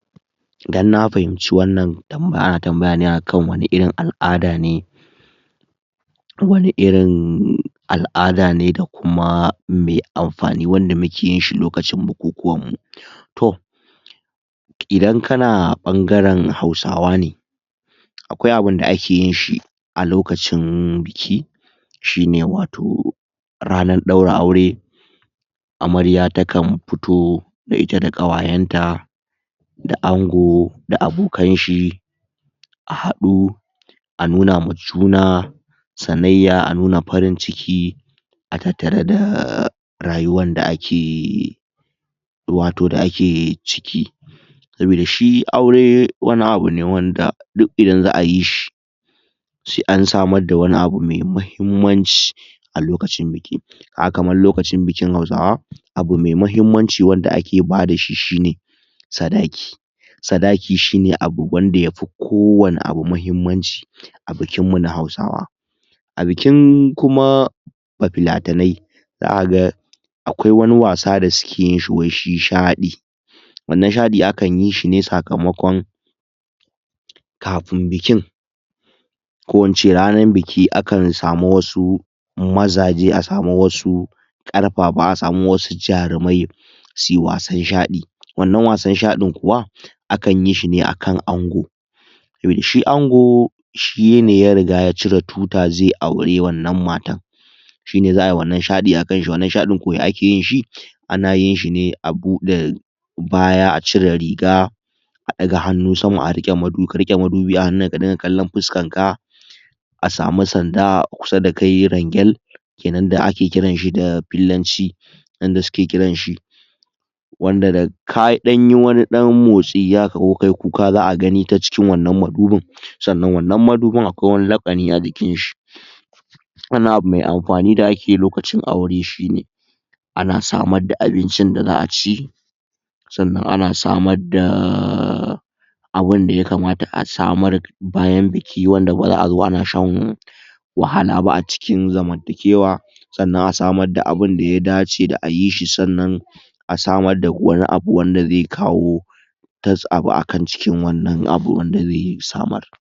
Idan na fahimci wannan, ana tambayan ana tambayane akan wani irin alʼada ne wani irin al'ada ne dakuma me anfani wanda mukeyinshi lokacin bukukuwanmu. Toh Idan kana bangaren hausawa ne, akwai abunda akeyinshi a lokacin um biki shi ne wato ranar daura aure Amarya takan fito da ita da kawayenta da ango da abokanshi a hadu a nuna ma juna sanayya a nuna farin ciki a tattare da rayuwanda ake, wato da ake ciki. Saboda shi aure wani abu ne wanda duk Idan zaʼa yishi sai an samarda wani abu mai mahimmanci a lokacin biki,[um] kamar lokacin bikin hausawa abu mai mahimmanci wanda ake bada shi shine sadaki, sadaki shine abu wanda yafi kowani abu mahimmanci a bikinmu na hausawa.A bikin Kuma ba filatanai za kaga akwai wani wasa da suke yinshi wai shi Shaɗi wannan shaɗi akanyishi ne sakamakon kafin bikin, ko ince Ranan biki akan samu wasu mazaje a samu wasu ƙarfafa a samu wasu jarumai suyi wasan shaɗi wannan wasan shaɗin Kuwa akan yishi ne akan ango toh shi ango shine ya riga ya cire tuta zai aura wannan matan shine zaʼayi wannan shaɗi akanshi, wannan shaɗi ko ya akeyinshi?. Anayinshi ne abude baya,a cire riga a daga Hannu sama? ka riƙe madu, ka riƙe madubi sama ka rinka kallon fuskanka a samu Sanda a kusa dakai rangel kenan da ake kiranshi da fillanci yanda suke kiranshi wanda da ka danyi wani dan motsi haka ko kayi kuka zaʼa gani tacikin wannan madubin, sannan wannan madubin akwai wani lakani ajikinshi, wannan abu mai anfani da akeyi lokacin aure shine ana samarda abincin da zaʼa ci, sannan ana samarda abunda yakamata a samar bayan biki wanda bazaʼazo ana shan wahala ba a cikin zamantakewa, sannan a samar da abunda ya dace da ayishi, sannan a samar da wani abu wanda zai kawo abu akan cikin wannan abu wanda zai samar.